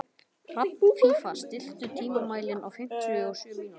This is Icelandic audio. Hrafnfífa, stilltu tímamælinn á fimmtíu og sjö mínútur.